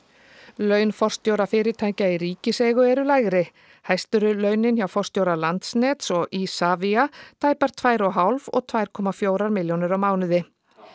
laun forstjóra fyrirtækja í ríkiseigu eru lægri hæst eru launin hjá forstjóra Landsnets og Isavia tæpar tvær og hálfa og tvö komma fjórar milljónir á mánuði